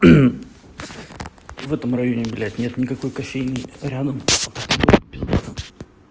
в этом районе блять нет никакой кофейни рядом